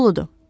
Doludur.